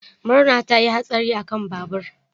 Murna ta yi hatsari akan babur.